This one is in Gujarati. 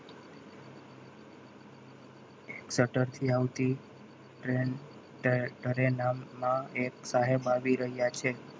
સતર થી આવતી train train માં એક સાહેબ આવી રહ્યા છે.